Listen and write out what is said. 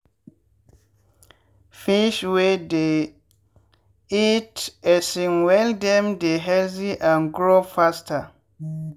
fish wey dey eat um well dem dey healthy and grow faster.